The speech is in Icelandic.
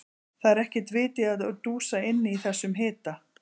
Það er ekkert vit í að dúsa inni í þessum hita.